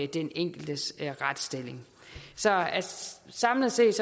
den enkeltes retsstilling så samlet set